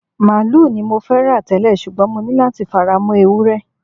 Màálù ni mo fẹ́ rà tẹ́lẹ̀, ṣùgbọ́n mo ní láti fara mọ́ Ewúré.